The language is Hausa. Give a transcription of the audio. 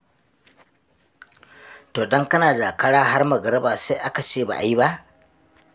To don kana Jakara har Magariba sai aka ce ba a yi ba?